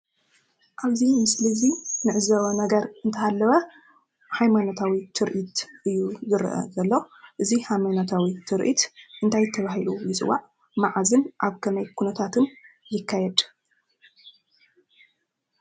ኣብዙይ ምስሊ ዙይ ነዕዘወ ነገር እንተሃለወ ኃይማናታዊ ትርኢት እዩ ዝረአዘሎ እዙ ሃይማናታዊ ትርኢት እንታይ ተብሂሉ ይዝዋዕ መዓዝም ኣብ ከመይ ኲነታትን ይካየድ?